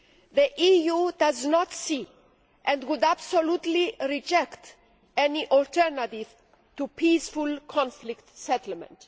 The EU does not see and would absolutely reject any alternative to peaceful conflict settlement.